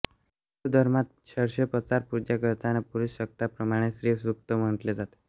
हिंदू धर्मात षोडशोपचार पूजा करताना पुरुष सुक्ताप्रमाणे श्री सूक्त म्हटले जाते